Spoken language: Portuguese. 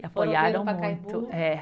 E apoiaram muito. É